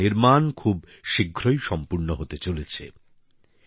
আর তার নির্মাণ খুব শীঘ্রই সম্পূর্ণ হতে চলেছে